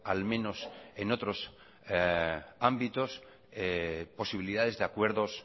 al menos en otros ámbitos posibilidades de acuerdos